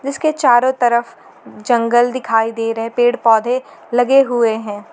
इसके चारों तरफ जंगल दिखाई दे रहे पेड़ पौधे लगे हुए हैं।